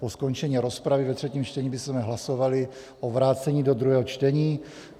Po skončení rozpravy ve třetím čtení bychom hlasovali o vrácení do druhého čtení.